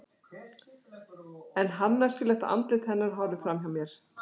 En harðneskjulegt andlit hennar horfir fram hjá mér.